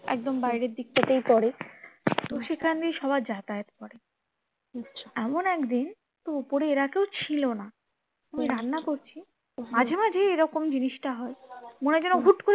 একদম বাইরের দিকটাতেই পরে তো সেখান দিয়ে সবাই যাতায়াত করে, এমন একদিন উপরে এরা কেউ ছিল না আমি রান্না করছি মাঝে মাঝেই এরকম জিনিসটা হয় মনে হয় যেন হুট্ করে